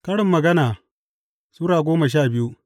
Karin Magana Sura goma sha biyu